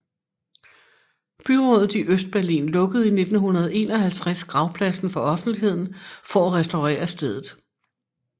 Byrådet i Østberlin lukkede i 1951 gravpladsen for offentligheden for at restaurere stedet